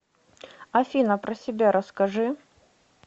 афина про себя расскажи